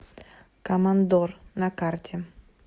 командор на карте